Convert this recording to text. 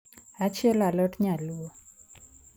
achielo alot nyaluo